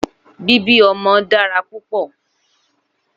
Bíbí ọmọ dára púpọ̀